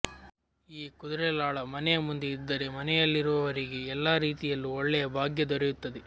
ಈ ಕುದುರೆ ಲಾಳ ಮನೆಯ ಮುಂದೆ ಇದ್ದರೆ ಮನೆಯಲ್ಲಿರುವವರಿಗೆ ಎಲ್ಲಾ ರೀತಿಯಲ್ಲೂ ಒಳ್ಳೆಯ ಭಾಗ್ಯ ದೊರೆಯುತ್ತದೆ